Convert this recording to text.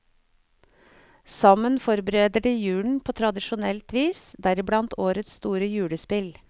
Sammen forbereder de julen på tradisjonelt vis, deriblant årets store julespill.